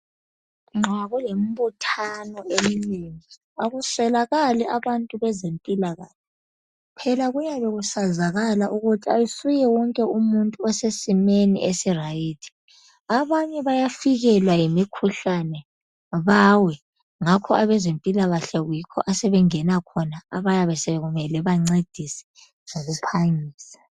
Nxa belembuthano eminengi akuswelakali abantu bezempilakahle phela kuyabe kusazakala ukuthi asuye wonke umuntu osesimeni esiright abanye bayafikelwa yimikhuhlane bawe ngakho abezempilakahle yikho asebengena khona abayabe sokumele bancedise ngokuphangisa.